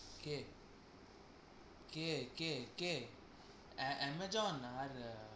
কে? কে? কে? কে? আমা~ আমাজন আচ্ছা